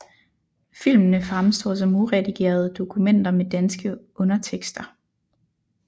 Filmene fremstår som uredigerede dokumenter med danske undertekster